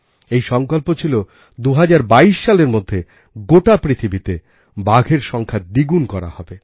এই সংকল্প ছিল ২০২২সালের মধ্যে গোটা পৃথিবীতে বাঘের সংখ্যা দ্বিগুণ করা হবে